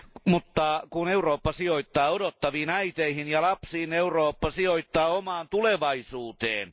Mutta kun Eurooppa sijoittaa odottaviin äiteihin ja lapsiin, Eurooppa sijoittaa omaan tulevaisuuteensa.